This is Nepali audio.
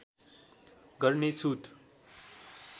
गर्ने छुट